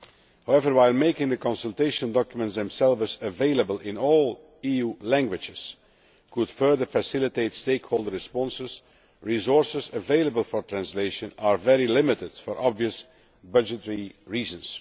However, while making the consultation documents themselves available in all EU languages could further facilitate stakeholder responses, resources available for translation are very limited, for obvious budgetary reasons.